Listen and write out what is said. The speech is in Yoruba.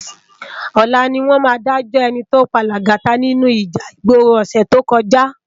Òlá niwòn má dájò èní tó pá Lagata ninú íjà igbóró òsè tókòjá